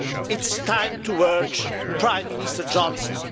It is time to urge Prime Minister Johnson.